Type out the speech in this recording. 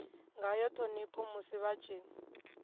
ngayo ṱhonipho musi vha tshi